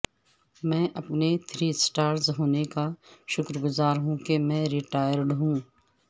میں اپنے three stars ہونے کا شکر گزار ہوں کہ میں ریٹائرڈ ہوں